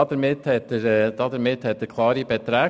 Damit hat er klare Beträge.